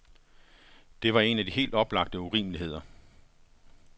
Det var en af de helt oplagte urimeligheder.